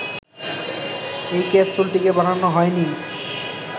এই ক্যাপসুলটিকে বানানো হয়নি